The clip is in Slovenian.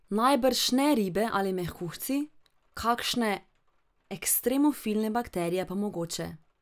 Najbrž ne ribe ali mehkužci, kakšne ekstremofilne bakterije pa mogoče.